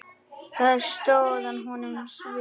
Það sótti að honum svimi.